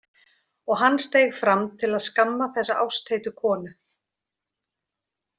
Og hann steig fram til að skamma þessa ástheitu konu.